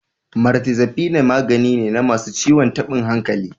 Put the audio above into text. Mirtazapine magani ne na masu ciwon tabin hankali.